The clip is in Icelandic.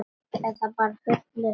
Eða bara fullur.